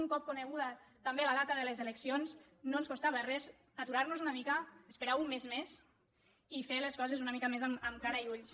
un cop coneguda també la data de les eleccions no ens costava res aturar·nos una mica esperar un mes més i fer les coses una mica més amb cara i ulls